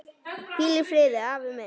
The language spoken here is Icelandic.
Hvíl í friði, afi minn.